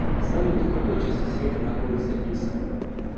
салют в какой части света находится иср